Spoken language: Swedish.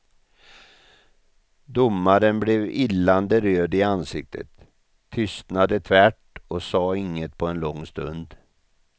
Domaren blev illande röd i ansiktet, tystnade tvärt och sa inget på en lång stund.